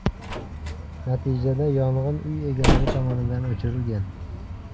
Natijada yong‘in uy egalari tomonidan o‘chirilgan.